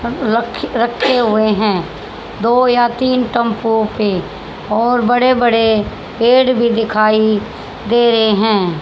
रखी रखे हुए हैं दो या तीन टेंपो के और बड़े बड़े पेड़ भी दिखाई दे रहे हैं।